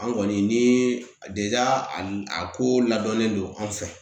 An kɔni ni a a ko ladɔnnen don an fɛ